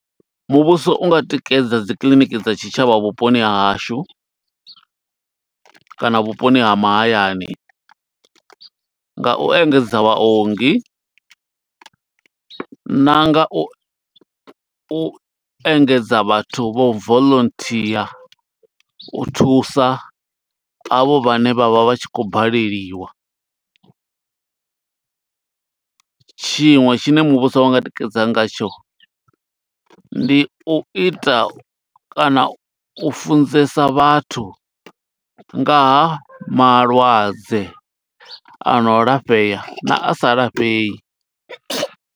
Muvhuso unga tikedza dzi kiḽiniki dza tshitshavha vhuponi ha hashu, kana vhuponi ha mahayani, nga u engedza vhaongi, na nga u u engedza vhathu vho volonthia u thusa, a vho vhane vha vha vha tshi khou baleliwa. Tshiṅwe tshine muvhuso unga tikedza ngatsho, ndi u ita kana u funzesa vhathu nga ha malwadze, a no lafhea na a sa lafhei.